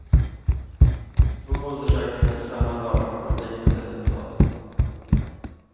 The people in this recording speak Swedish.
Två undersökningar samma dag gav liknande resultat.